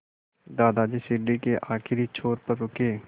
दादाजी सीढ़ी के आखिरी छोर पर रुके